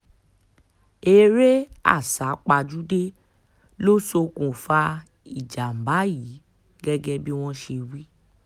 eré àsápajúdé ló ṣokùnfà ìjàm̀bá yìí gẹ́gẹ́ bí wọ́n ṣe wí